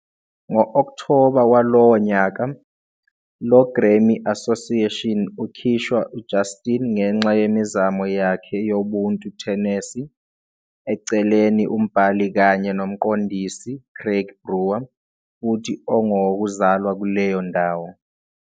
ngo-October walowo nyaka, lo Grammy Association ukhishwa Justin ngenxa yemizamo yakhe yobuntu Tennessee, eceleni umbhali kanye nomqondisi Craig Brewer, futhi ongowokuzalwa kuleyo ndawo.